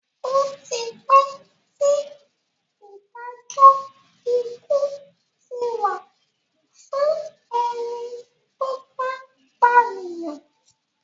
Ó ti pẹ́ tí Ìdájọ́ ikú ti wà fún ẹni tó bá pànìyàn